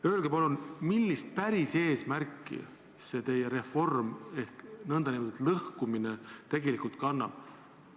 Öelge palun, millist eesmärki see teie reform ehk nn lõhkumine tegelikult kannab?